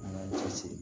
An y'an cɛsiri